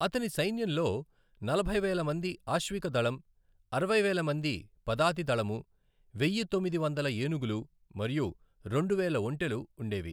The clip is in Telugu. అతని సైన్యంలో నలభై వేల మంది ఆశ్వికదళం, అరవై వేల మంది పదాతిదళము, వెయ్యి తొమ్మిది వందల ఏనుగులు మరియు రెండు వేల ఒంటెలు ఉండేవి.